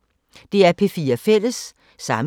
DR P4 Fælles